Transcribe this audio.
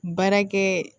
Baarakɛ